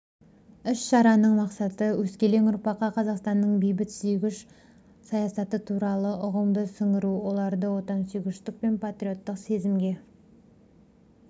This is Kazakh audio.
іс шараның мақсаты өскелең ұрпаққа қазақстанның бейбітсүйгіш саясаты туралы ұғымды сіңіру оларды отансүйгіштік пен патриоттық сезімге